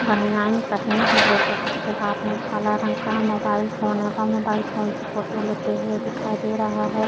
बानियाईन पहने हुए है उसके हाथ में काला रंग का मोबाईल फोन है वह मोबाईल फोन से फोटो लेते हुए दिखाई दे रहा है।